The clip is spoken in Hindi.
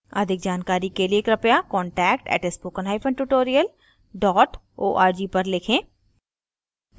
अधिक जानकारी के लिए कृपया contact @spokentutorial org पर लिखें